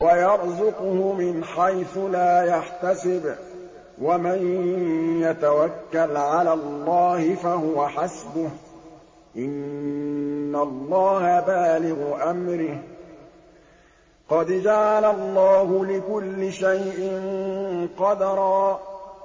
وَيَرْزُقْهُ مِنْ حَيْثُ لَا يَحْتَسِبُ ۚ وَمَن يَتَوَكَّلْ عَلَى اللَّهِ فَهُوَ حَسْبُهُ ۚ إِنَّ اللَّهَ بَالِغُ أَمْرِهِ ۚ قَدْ جَعَلَ اللَّهُ لِكُلِّ شَيْءٍ قَدْرًا